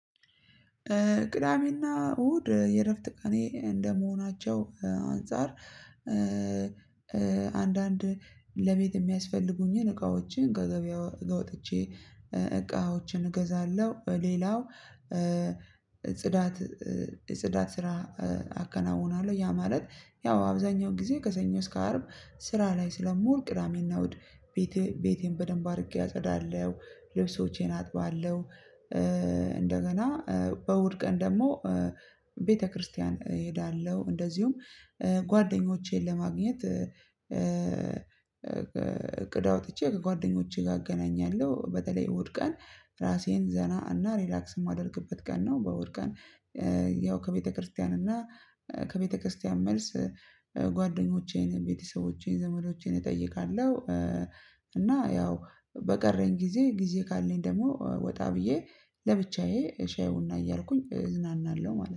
ቅዳሜና እሁድ የእረፍት ቀኔ እንደመሆናቸው አንፃር። አንዳንድ ለቤት የሚያስፈልጉኝን እቃዎችን ከገቢያ ውጥቼ እቃዎችን እገዛለሁ። ሌላው ጽዳት ጽዳት ስራ አከናውናለሁ። ያ ማለት ያው አብዛኛው ጊዜ ከሰኞ እስከ አርብ ስራ ላይ ስለምወል ቅዳሜና እሁድ ቤቴ ቤቴን በደንብ አድርጌ አጸዳለሁ። ልብሶቼን አጥባለሁ። እንደገና በእሁድ ቀን ደግሞ ቤተክርስቲያን እሄዳለሁ። እንደዚሁም ጓደኞቼን ለማግኘት እቅድ አውጥቼ ከጓደኞቼ ጋር አገናኛለሁ። በተለይ እሁድቀን ራሴን ዘና እና ሪላክስ የማደርግበት ቀን ነው። በእሁድ ቀን ያው ከቤተክርስቲያን እና ከቤተክርስቲያን መልስ ጓደኞቼን ቤተሰቦቼን ዘመዶቼን እጠይቃለሁ። እና ያው በቀረኝ ጊዜ ጊዜ ካለኝ ደግሞ ወጣ ብዬ ለብቻዬ ሻይ ቡና እያልኩኝ እዝናናለሁ ማለት ነው